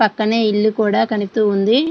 పక్కనే ఇల్లు కూడా కనిపిస్తూ ఉంది.